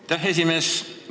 Aitäh, esimees!